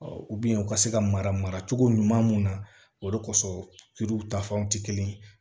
u ka se ka mara cogo ɲuman mun na o de kosɔn ta fan tɛ kelen ye